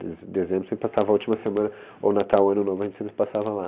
Dez dezembro a gente sempre passava a última semana, ou Natal, Ano Novo, a gente sempre passava lá.